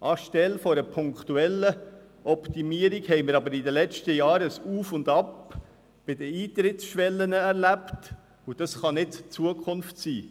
Anstelle einer punktuellen Optimierung haben wir aber in den letzten Jahren bei den Eintrittsschwellen ein Auf und Ab erlebt, und das kann nicht Zukunft sein.